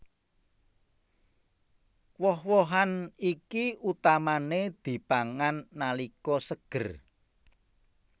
Woh wohan iki utamané dipangan nalika seger